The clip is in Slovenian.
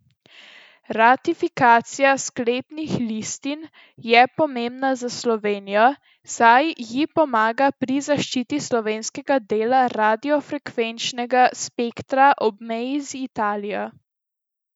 Ratifikacija sklepnih listin je pomembna za Slovenijo, saj ji pomaga pri zaščiti slovenskega dela radiofrekvenčnega spektra ob meji z Italijo.